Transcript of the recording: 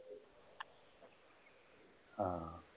ਆਹੋ।